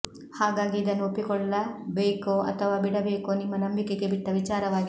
ಹಾಗಾಗಿ ಇದನ್ನು ಒಪ್ಪಿಕೊಳ್ಳಬೇಕೋ ಅಥವಾ ಬಿಡಬೇಕೋ ನಿಮ್ಮ ನಂಬಿಕೆಗೆ ಬಿಟ್ಟ ವಿಚಾರವಾಗಿದೆ